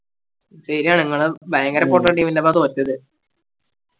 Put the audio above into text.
ശരിയാ ഇങ്ങള് ഭയങ്കര പൊട്ടൻ team ൻറെപ്പ തോറ്റത്